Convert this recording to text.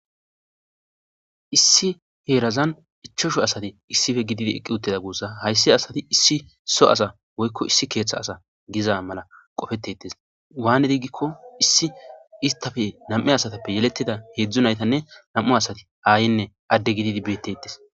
issi heerazan ichosho asati issife gididi eqqi utteda guussa hayssi asati issi so asa woykko issi keeththa asa giza mala qofetetes waanedigikko issi istafe nam7e asatappe yeletida heedzdzu naytanne nam7u asati aayenne adde gididi beettetes